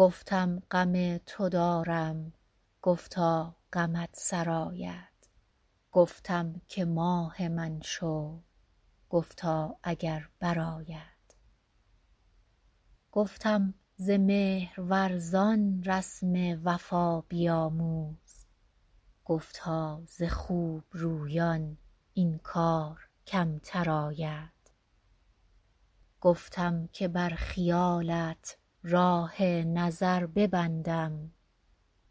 گفتم غم تو دارم گفتا غمت سرآید گفتم که ماه من شو گفتا اگر برآید گفتم ز مهرورزان رسم وفا بیاموز گفتا ز خوب رویان این کار کمتر آید گفتم که بر خیالت راه نظر ببندم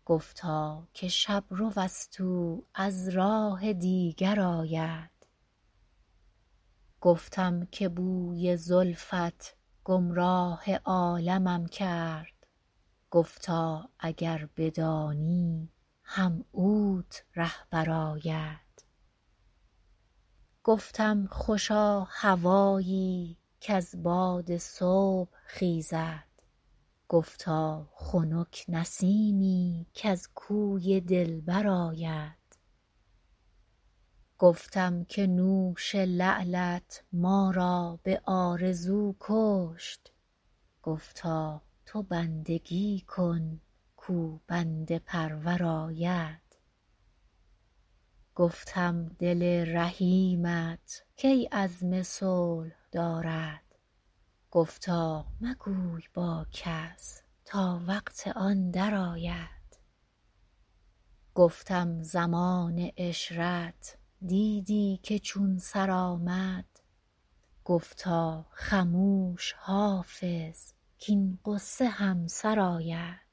گفتا که شب رو است او از راه دیگر آید گفتم که بوی زلفت گمراه عالمم کرد گفتا اگر بدانی هم اوت رهبر آید گفتم خوشا هوایی کز باد صبح خیزد گفتا خنک نسیمی کز کوی دلبر آید گفتم که نوش لعلت ما را به آرزو کشت گفتا تو بندگی کن کاو بنده پرور آید گفتم دل رحیمت کی عزم صلح دارد گفتا مگوی با کس تا وقت آن درآید گفتم زمان عشرت دیدی که چون سر آمد گفتا خموش حافظ کـاین غصه هم سر آید